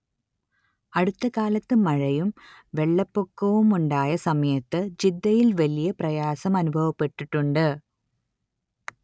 അടുത്ത കാലത്ത് മഴയും വെള്ളപ്പൊക്കവുമുണ്ടായ സമയത്ത് ജിദ്ദയിൽ വലിയ പ്രയാസമനുഭവപ്പെട്ടിട്ടുണ്ട്